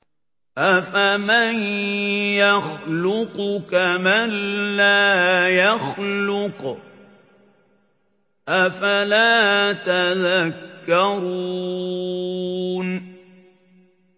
أَفَمَن يَخْلُقُ كَمَن لَّا يَخْلُقُ ۗ أَفَلَا تَذَكَّرُونَ